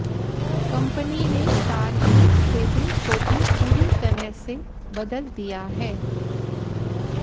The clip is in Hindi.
कंपनी ने कार के केबिन को भी पूरी तरह से बदल दिया है